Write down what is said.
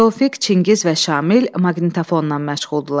Tofiq, Çingiz və Şamil maqnitafonnan məşğuldurlar.